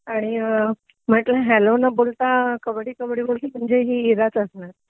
आणि म्हटलं हॅलो न बोलता कब्बडी कब्बडी बोलली म्हणजे इराच असणार